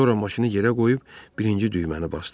Sonra maşını yerə qoyub birinci düyməni basdı.